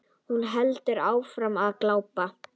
Hún heldur áfram að glápa.